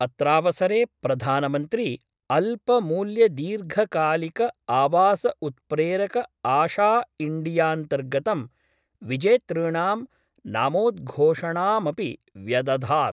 अत्रावसरे प्रधानमन्त्री अल्पमूल्यदीर्घकालिकआवासउत्प्रेरकआशाइंडियान्तर्गतं विजेतृणां नामोद्घोषणामपि व्यदधात्।